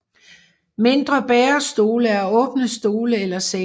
Mindre bærestole er åbne stole eller senge